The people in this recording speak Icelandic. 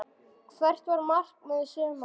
Hvert var markmið sumarsins?